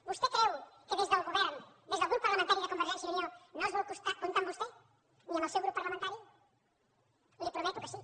vostè creu que des del govern des del grup parlamentari de convergència i unió no es vol comptar amb vostè ni amb el seu grup parlamentari li prometo que sí